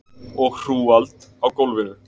Og hrúgald á gólfinu.